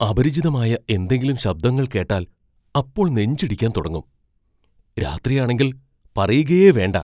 അപരിചിതമായ എന്തെങ്കിലും ശബ്ദങ്ങൾ കേട്ടാൽ അപ്പൊ നെഞ്ച് ഇടിക്കാൻ തുടങ്ങും. രാത്രിയാണെങ്കിൽ പറയുകയേ വേണ്ട.